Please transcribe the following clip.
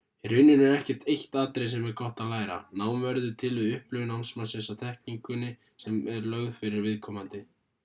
í rauninni er ekkert eitt atriði sem er gott að læra nám verður til við upplifun námsmannsins á þekkingunni sem lögð er fyrir viðkomandi